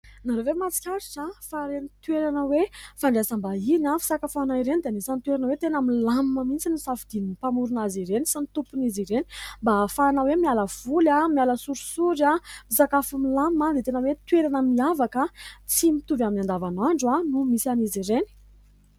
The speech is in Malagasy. Nareo ve mahasikaritra fa ireny toerana hoe : "fandraisam-bahiny, fisakafoanana ireny" dia an'isan'ny toerana hoe tena milamina mihintsy ny safidian'ny mpamorona azy ireny sy ny tompon'izy ireny mba ahafahana hoe miala voly, miala sorosory, misakafo milamina dia tena hoe toerana miavaka tsy mitovy amin'ny andavanandro no misy an'izy ireny ?